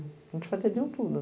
A gente fazia de um tudo.